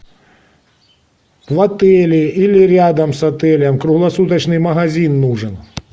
в отеле или рядом с отелем круглосуточный магазин нужен